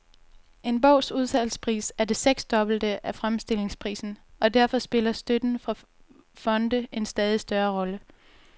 En bogs udsalgspris er det seksdobbelte af fremstillingsprisen, og derfor spiller støtten fra fonde en stadig større rolle.